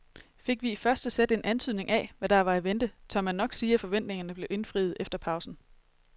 Fik vi i første sæt en antydning af hvad der var i vente, tør man nok sige at forventningerne blev indfriet efter pausen.